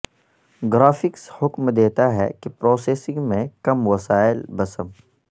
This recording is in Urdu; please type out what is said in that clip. گرافکس حکم دیتا ہے کی پروسیسنگ میں کم وسائل بسم